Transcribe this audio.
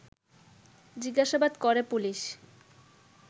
জিজ্ঞাসাবাদ করে পুলিশ